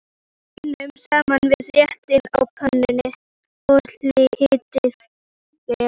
Bætið baununum saman við réttinn á pönnunni og hitið vel.